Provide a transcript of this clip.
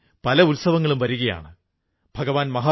കർഷകർക്കും വളരെ ആശ്ചര്യം തോന്നി